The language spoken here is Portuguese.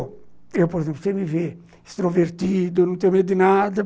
Por exemplo, você me vê extrovertido, não tenho medo de nada.